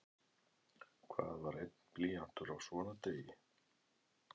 Hvað var einn blýantur á svona degi?